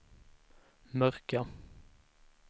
mörka